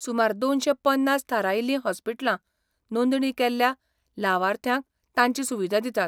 सुमार दोनशे पन्नास थारायिल्ली हॉस्पिटलां नोंदणी केल्ल्या लावार्थ्यांक तांची सुविदा दितात.